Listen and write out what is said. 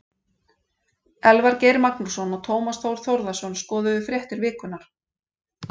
Elvar Geir Magnússon og Tómas Þór Þórðarson skoðuðu fréttir vikunnar.